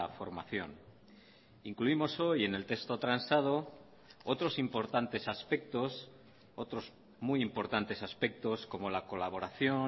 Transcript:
formación incluimos hoy en el texto transado otros importantes aspectos otros muy importantes aspectos como la colaboración